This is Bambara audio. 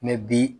bi